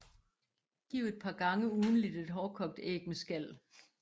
Giv et par gange ugentligt et hårdkogt æg med skal